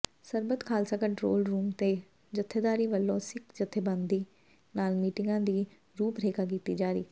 ਸਰਬੱਤ Khalsa control room ਤੋਂ ਜਥੇਦਾਰਾਂ ਵੱਲੋਂ ਸਿੱਖ ਜਥੇਬੰਦੀਆਂ ਨਾਲ ਮੀਟਿੰਗਾਂ ਦੀ ਰੂਪਰੇਖਾ ਕੀਤੀ ਜਾਰੀ